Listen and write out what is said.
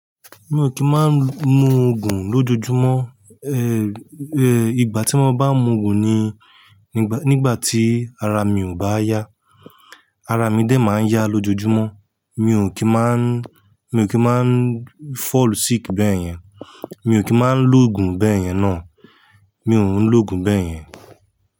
Mi ò kì í máa ń mu òògùn lójoojúmọ́, eh eh, ìgbà tí mo bá ń mu òògùn ni nígbà tí ara mi ò bá yá. Ara mi dè máa ń yá lójojúmọ́. Mi ò kí máa ń, mi ò kí máa ń fall sick bẹ́yẹn. Mi ò kí máa ń lo òògùn bẹ́yẹn náà. Mi ò ń lo òògùn bẹ́yẹn.